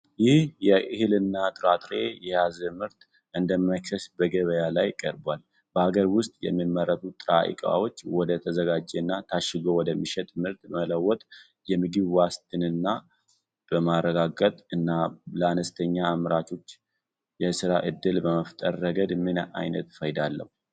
ይህ እህልና ጥራጥሬ የያዘ ምርት እንደ መክሰስ በገበያ ላይ ቀርቧል። በሀገር ውስጥ የሚመረቱ ጥሬ ዕቃዎችን ወደ ተዘጋጀና ታሽጎ ወደሚሸጥ ምርት በመለወጥ የምግብ ዋስትናን በማረጋገጥ እና ለአነስተኛ አምራቾች የሥራ ዕድል በመፍጠር ረገድ ምን ዓይነት ፋይዳ አለው?